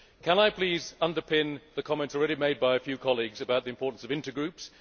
Can I please underpin the comments already made by a few colleagues about the importance of intergroups?